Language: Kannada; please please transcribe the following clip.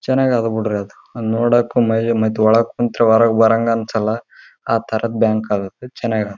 ಇದು ಆಕ್ಸಿಸ್ ಬ್ಯಾಂಕ್ ಇದರಲ್ಲಿ ಜೀರೋ ಬ್ಯಾಲೆನ್ಸ್ ಅಕೌಂಟ್ ಲಿಂದ ಜೀರೋ ಬ್ಯಾಲೆನ್ಸ್ .